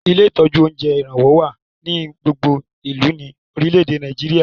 Ilé ìtọ́jú oúnjẹ Ìrànwọ́ wá ní gbogbo ìlú ni orìlẹ̀dé Nàìjíríà